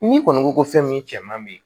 N'i kɔni ko ko fɛn min cɛ man bɛ yen